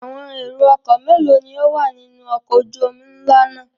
Àwọn èrò-ọkọ̀ mélòó ni ó wà nínú ọkọ̀ ojú-omi ńlá náà?